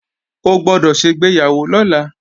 O gbọ́dọ̀ ṣègbéyàwó lọ́la!